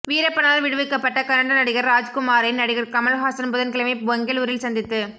வீரப்பனால் விடுவிக்கப்பட்ட கன்னட நடிகர் ராஜ்குமாரை நடிகர் கமல்ஹாசன் புதன்கிழமை பெங்களூரில் சந்தித்துப்